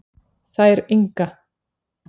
Þær Inga